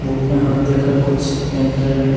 Book में हाथ देकर कुछ कहना चाह रहा है।